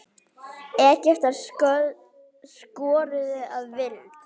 Egyptar skoruðu að vild.